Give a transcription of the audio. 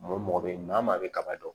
Maa o mɔgɔ bɛ maa maa bɛ kaba dɔn